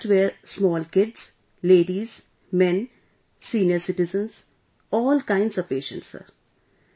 In that were small kids, ladies, men, senior citizens... all kinds of patients sir